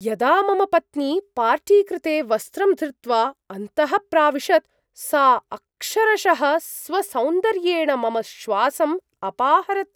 यदा मम पत्नी पार्टि कृते वस्त्रं धृत्वा अन्तः प्राविशत्, सा अक्षरशः स्वसौन्दर्येण मम श्वासम् अपाहरत्।